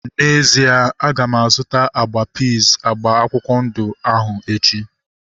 N'ezie, aga m azụta agwa piiz agba akwụkwọ ndụ ahu echi